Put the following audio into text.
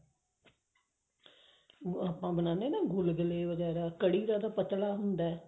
ਆਪਾਂ ਬਣਾਉਣੇ ਹਨ ਨਾ ਗੁਲਗੁਲੇ ਵਗੇਰਾ ਕੜ੍ਹੀ ਦਾ ਤਾਂ ਜਿਆਦਾ ਪਤਲਾ ਹੁੰਦਾ